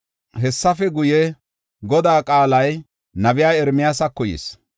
Hessafe guye, Godaa qaalay nabiya Ermiyaasako yis.